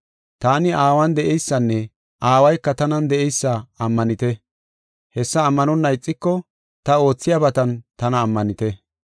Taani Aawan de7eysanne Aawayka tanan de7eysa ammanite. Hessa ammanonna ixiko ta oothiyabatan tana ammanite.